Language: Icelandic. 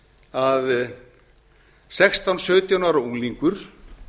að sextán til sautján ára unglingur